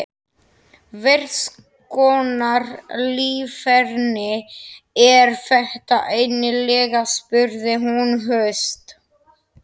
Hverskonar líferni er þetta eiginlega? spurði hún höst.